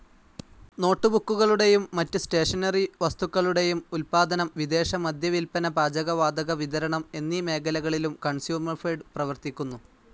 നോട്ടുബുക്കുകളുടെയും മാറ്റ് സ്റ്റേഷനറി വസ്തുക്കളുടെയും ഉത്പാദനം വിദേശ മദ്യ വിൽപ്പന പാചക വാതക വിതരണം എന്നീ മേഖലകളിലും കൺസ്യുമർഫെഡ് പ്രവർത്തിക്കുന്നു.